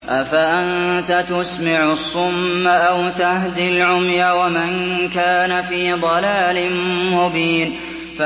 أَفَأَنتَ تُسْمِعُ الصُّمَّ أَوْ تَهْدِي الْعُمْيَ وَمَن كَانَ فِي ضَلَالٍ مُّبِينٍ